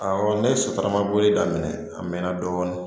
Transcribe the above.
Awɔ ne ye sotarama boli daminɛ a mɛnna dɔɔnin